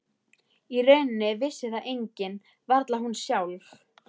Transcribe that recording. Í rauninni vissi það enginn, varla hún sjálf.